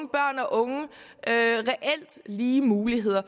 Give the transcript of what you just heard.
reelt lige muligheder